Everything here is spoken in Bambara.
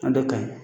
A dɔ ka ɲi